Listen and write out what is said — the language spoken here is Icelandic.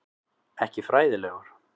Ekki fræðilegur.